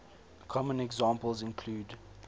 common examples include